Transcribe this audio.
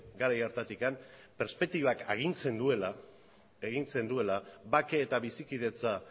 garai hartatik perspektibak agintzen duela bake eta bizikidetza